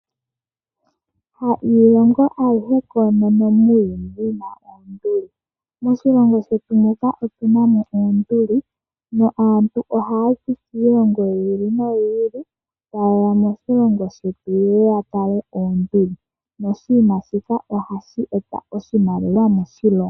Ha iilongo ayihe koonono muuyuni yina oonduli, moshilongo shetu muka otunamo oonduli, naantu ohaya zi kiilongo yi ili noyi ili tayeya moshilongo shetu yeye ya tale oonduli. Oshinima shika ohashi eta oshimaliwa moshilongo.